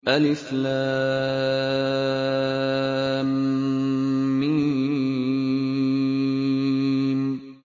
الم